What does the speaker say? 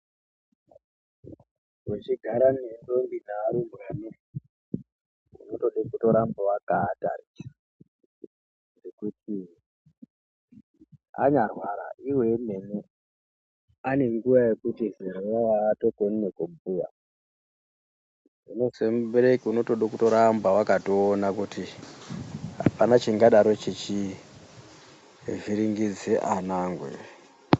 Techigara nevatinoto varumbwana unotode kuramba wakaatarisa ngokuti unyarwara iwo wemene anenge achiri dzimwe nguwa haakoni nekubhuya utori mubereki unotode kuramba wakaona kuti apana chiri kuvhiringidze ana angu here.